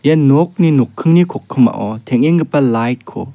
ia nokni nokkingni kokkima teng·enggipa laut ko--